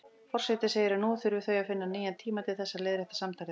Forseti segir að nú þurfi þau að finna nýjan tíma til þess að leiðrétta samtalið.